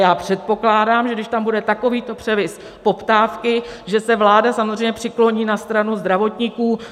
Já předpokládám, že když tam bude takovýto převis poptávky, že se vláda samozřejmě přikloní na stranu zdravotníků.